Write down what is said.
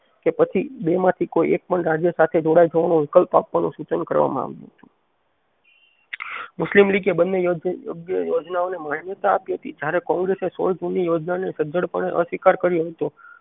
કે પછી બે માથે કોઈ એક પણ રાજ્ય સાથે જોડાઈ જવાનો વૈકલ્પ આપવાનું સૂચન કરવામા આવ્યુતું મુસ્લિમ લીગે બને યોગ્ય યોજનાઓનેમાન્યતા આપી હતી જયારે કોંગ્રેસે સોળ જૂન ની યોજનાને સજડ પણે અસ્વીકાર કર્યો હતો